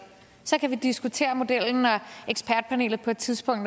så kan vi diskutere modellen når ekspertpanelet på et tidspunkt